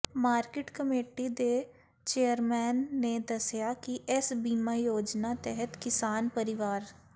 market committee ਦੇ chairman ਨੇ ਦੱਸਿਆ ਕਿ ਇਸ ਬੀਮਾ ਯੋਜਨਾ ਤਹਿਤ ਕਿਸਾਨ ਪਰਿਵਾਰ